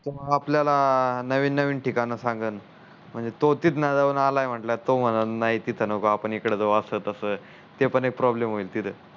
तो आपल्याला नवीन नवीन ठिकाण सांगण म्हणजे तो तितं जाऊन आला आहे म्हटल्यावर तो म्हणण नाही तित नको आपण इकड जाऊ आस तस ते पण एक प्रॉब्लेम होईल की र